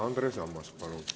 Andres Ammas, palun!